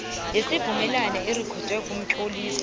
yesivumelwano irikhodwe kumtlolisi